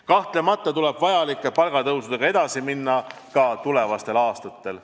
Kahtlemata tuleb vajalike palgatõusudega edasi minna ka tulevastel aastatel.